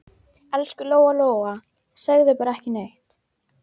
Elsku Lóa Lóa, segðu bara ekki neitt.